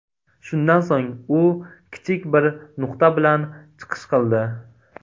Shundan so‘ng u kichik bir nutq bilan chiqish qildi.